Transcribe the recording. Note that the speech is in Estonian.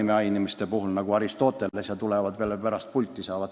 Mainin näiteks Aristotelest – tuleb veel siia pulti.